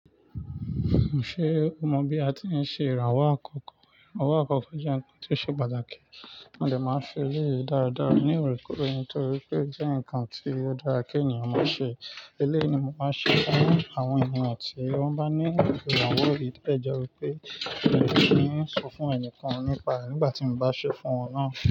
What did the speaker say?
Ṣé o mọ bí a ti ń ṣe ìràwọ̀ àkọ́kọ́? Ìràwọ̀ àkọ́kọ́ jẹ́ ǹkan tí ó ṣe pàtàkì, mo dẹ̀ máa ṣe eléyìí dáradára ní òrèkóòrè torí pé ó jẹ́ ǹkan tí ó dára kí ènìyàn máa ṣe. Eléyìí ni mo máa ń ṣe fún àwọn ènìyàn tí wọ́n bá nílo ìrànwọ̀ gidí. O kàn jẹ́ wípé mi ò kíì ń sọ fún ẹnìkan nípa ẹ̀ nígbà tí mo bá ṣe fún wọn nàá.